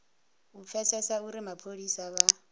u pfesesa uri mapholisa vha